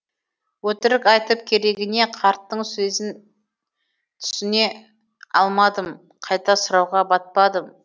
өтірік айтып керегіне қарттың сезін түсіне алмадым қайта сұрауға батпадым